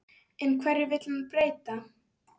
En hverju vill hann breyta?